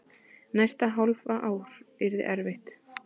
Næsta hálfa ár yrði erfitt.